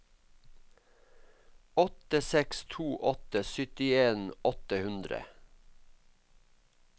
åtte seks to åtte syttien åtte hundre